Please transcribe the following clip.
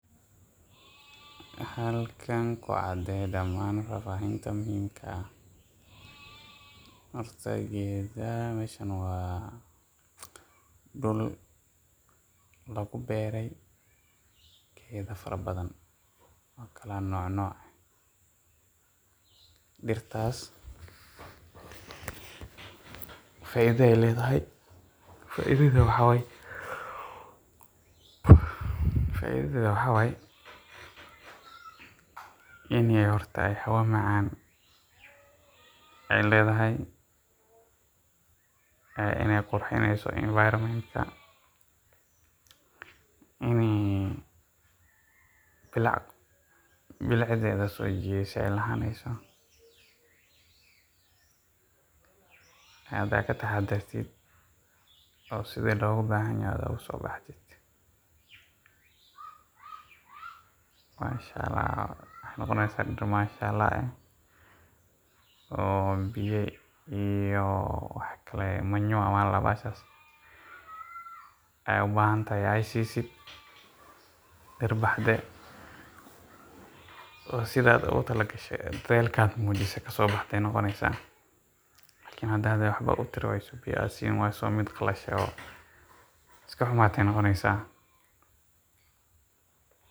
Halkan ku cadee dhammaan faahfaahinta muhiimka? ah. Horta, meeshaan waa dhul lagu beero geedo farabadan oo kala nooc nooc ah. Dirtaas faa’iido ayey leedahay. Faa’iidadeedu waxaa weeye in hawo macaan ay leedahay, inay qurxinayso environment-ka, in ay bilicdheeda soo jiidasho ay lahaanayso. Haddii aad ka daryeesho oo sida looga baahan yahay ugu soo baxdo, waxay noqonaysaa mid mashallah]cs] ah. Biyo iyo manure ayay u baahan tahay, aad siiso dirtana oo sida ugu talagashay oo dadaalka muujisay ka soo baxday ayey noqonaysaa. Laakiin haddii aadan wax u tari waydo oo biyo aadan siin waydo, mid qalasho oo iska xumaatay ayey noqonaysaa.